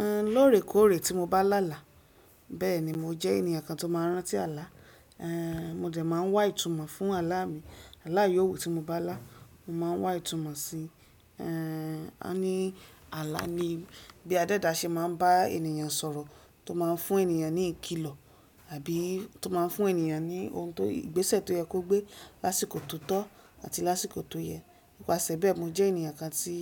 Ehn, lóòrèkóòrè tí mo bá là là, bẹ́ẹ̀ni mo jẹ́ ènìyàn kan tó máa ń rántí àlá. Ehn, mo dẹ̀ máa ń wá ìtumọ̀ fún àlá mi. Àlá iyóò wu tí mo bá là, mo máa ń wá ìtumọ̀ si, ehn, a ní àlá ni bí a dédá ṣe máa ń bá ènìyàn sọ̀rọ̀, tó máa ń fún ènìyàn ní ìkilọ̀, àbí tó máa ń fún ènìyàn ní ohun tó, ìgbésẹ̀ tó yẹ kó gbé lásìkò tó tọ́ àti lásìkò tó yẹ. Nípasẹ̀ bẹ́ẹ̀, mo jẹ́ ènìyàn kan tí